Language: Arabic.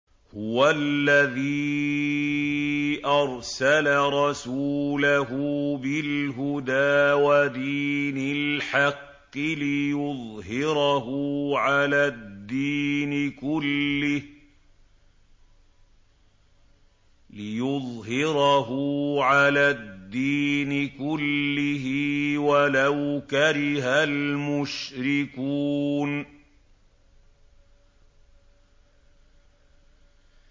هُوَ الَّذِي أَرْسَلَ رَسُولَهُ بِالْهُدَىٰ وَدِينِ الْحَقِّ لِيُظْهِرَهُ عَلَى الدِّينِ كُلِّهِ وَلَوْ كَرِهَ الْمُشْرِكُونَ